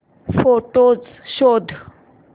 photos शोध